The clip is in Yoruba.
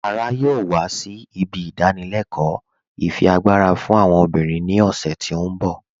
Lára yọọ wà sí ibi ìdánìlẹ̀kọ ifiagbara fún àwọn obìnrin ni ọ̀ṣẹ̀ tí n bọ̀.